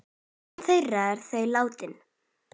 Öll eru þau látin.